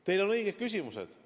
Teil on õiged küsimused.